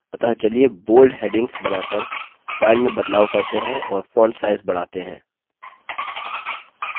अतः चलिए bold headings बनाकर file में बदलाव करते हैं और font size बढ़ाते हैं